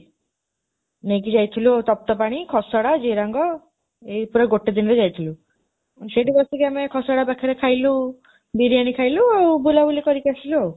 ନେଇକି ଯାଇଥିଲୁ ଆଉ ତପ୍ତପାଣି, ଖସଡ଼ା, ଜିରାଙ୍ଗ, ଏଇ ପୁରା ଗୋଟେ ଦିନରେ ଯାଇଥିଲୁ। ସେଇଠି ବସିକି ଆମେ ଖସଡ଼ା ପାଖରେ ଖାଇଲୁ, ବିରିୟାନି ଖାଇଲୁ ଆଉ ବୁଲାବୁଲି କରିକି ଆସିଲୁ ଆଉ